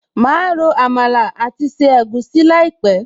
Máa ro Àmàlà àti se egusi láìpẹ̀